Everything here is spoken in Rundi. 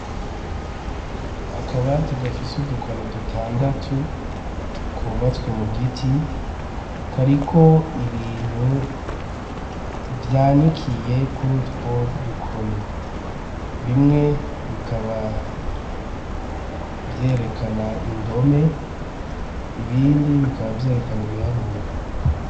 Akabati gafise udukoni dutandatu kubatswe mu giti kariko ibintu vyanikiye kuri utwo dukoni bimwe bikaba vyerekana indomeibia ibindi bikaba vyerekana ibiharuro.